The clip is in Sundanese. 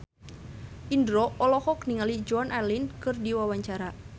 Indro olohok ningali Joan Allen keur diwawancara